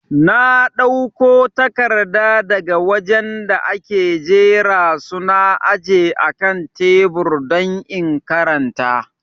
Na dauko takarda daga wajen da ake jera su na aje akan tebur don in karanta